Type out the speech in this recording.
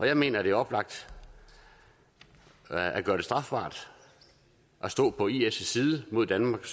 jeg mener det er oplagt at at gøre det strafbart at stå på is side mod danmark